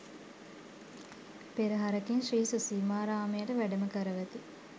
පෙරහරකින් ශ්‍රී සුසීමාරාමයට වැඩම කරවති.